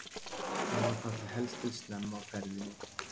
Hann var þar helst til snemma á ferðinni og tilraunin mistókst.